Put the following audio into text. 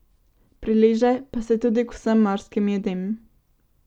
Prileže pa se tudi k vsem morskim jedem.